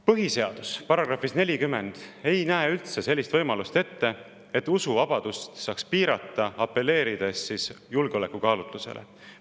Põhiseaduse § 40 ei näe üldse sellist võimalust ette, et usuvabadust saaks piirata, apelleerides julgeolekukaalutlusele.